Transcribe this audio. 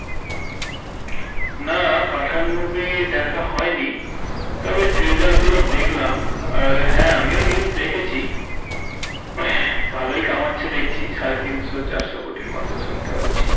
না পাঠান movie দেখা হয়নি তবে trailer গুলো দেখলাম আর হ্যাঁ আমিও news দেখেছি ভালোই কামাচ্ছে দেখছি সাড়ে তিনশো চারশো কোটির মতো শুনতে পাচ্ছি